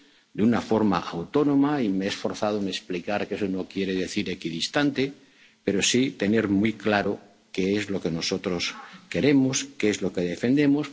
y nuestros intereses de forma autónoma —y me he esforzado en explicar que eso no quiere decir equidistante, pero sí tener muy claro qué es lo que nosotros queremos,